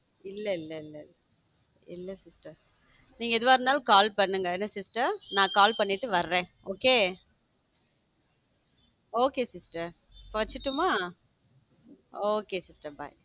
இல்ல இல்ல இல்ல sister நீங்க எதுவா இருந்தாலும் call பண்ணுங்க என்ன sister நான் call பண்ணிட்டு வரேன் okay sister வைசுரட்டுமா okay sister bye.